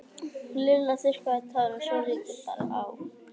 Lilla þurrkaði tárin svo lítið bar á.